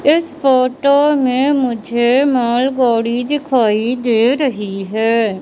इस फोटो में मुझे मालगाड़ी दिखाई दे रही है।